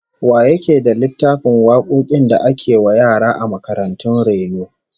Wa yake da littafin wakokin da ake wa yara a makarantun raino?